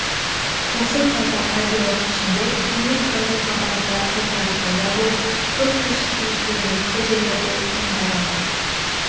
осы таза радиолық пішіндер кеңес радиохабарында жылдары пайда болып көп кешікпей жергілікті жерлерде кең таралды